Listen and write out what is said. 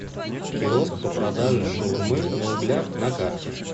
киоск по продаже шаурмы на углях на карте